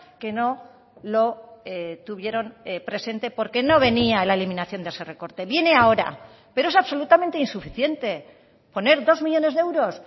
que no lo tuvieron presente porque no venía la eliminación de ese recorte viene ahora pero es absolutamente insuficiente poner dos millónes de euros